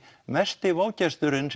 mesti vágesturinn